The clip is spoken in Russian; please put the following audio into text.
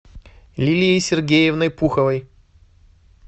лилией сергеевной пуховой